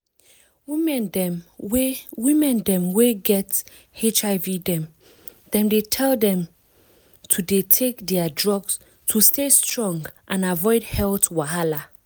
women dem wey women dem wey get hiv dem dey tell dem to dey take their drugs to stay strong and avoid health wahala.